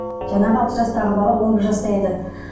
жаңағы алты жастағы бала он бір жаста еді